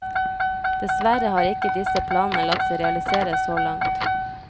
Dessverre har ikke disse planene latt seg realisere så langt.